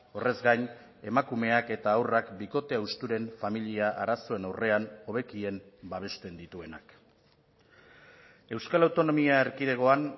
horrez gain emakumeak eta haurrak bikote hausturen familia arazoen aurrean hobekien babesten dituenak euskal autonomia erkidegoan